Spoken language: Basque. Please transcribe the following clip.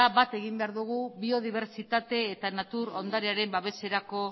bat egin behar dugu biodibertsitate eta natur ondarearen babeserako